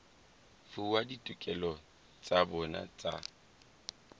fuwa ditokelo tsa bona tsa